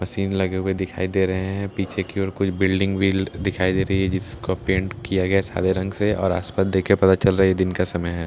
machine लगे हुए दिखाई दे रहे हैं पीछे की और कुछ बिल्डिंग भी दिखाई दे रही है जिसको पेंट किया गया है सादे रंग से और आसपास देखकर पता चल रहा है यह दिन का समय है --